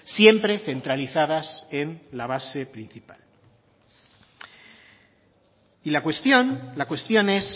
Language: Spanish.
siempre centralizadas en la base principal y la cuestión la cuestión es